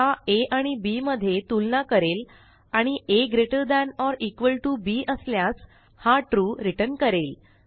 हा आ आणि बी मध्ये तुलना करेल आणि A greater than or equal to bअसल्यास हा ट्रू returnकरेल